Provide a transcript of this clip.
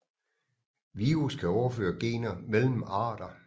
Virus kan overføre gener mellem arter